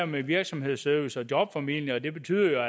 med virksomhedsservice og jobformidling betyder